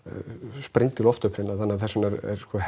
sprengd í loft upp þannig að þess vegna